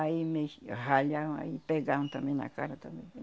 Aí me ralhavam, aí me pegaram também na cara também.